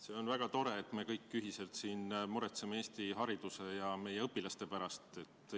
See on väga tore, et me kõik ühiselt siin muretseme Eesti hariduse ja meie õpilaste pärast.